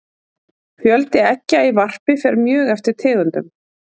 fjöldi eggja í varpi fer mjög eftir tegundum